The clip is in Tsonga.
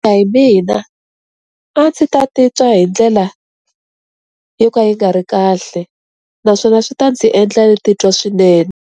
Ku ya hi mina a ndzi ta titwa hi ndlela yo ka yi nga ri kahle naswona swi ta ndzi endla ni titwa swinene.